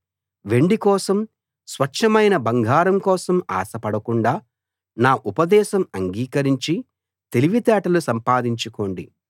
వెండి కోసం స్వచ్ఛమైన బంగారం కోసం ఆశ పడకుండా నా ఉపదేశం అంగీకరించి తెలివితేటలు సంపాదించుకోండి